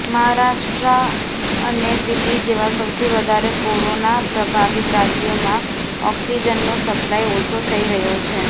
મહારાષ્ટ્રા અને દિલ્લી જેવા સૌથી વધારે કોરોના પ્રભાવિત રાજ્યોમાં ઓક્સિજનનો સપ્લાઈ ઓછો થઈ રહ્યો છે